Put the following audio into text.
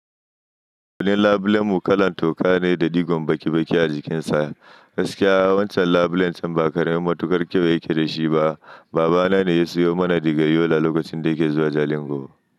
Wani labulen mu kalan toka ne da digon baki baki a jikinsa. Gaskiya, wancan labulen can ba karamin matukar kyau yake da shi ba. Baba na ne ya sayo mana daga yola lokacin da yake zuwa Jalingo.